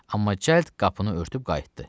Amma cəld qapını örtüb qayıtdı.